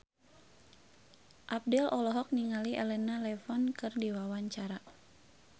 Abdel olohok ningali Elena Levon keur diwawancara